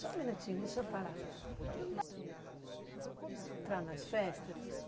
Só um minutinho, deixa eu parar.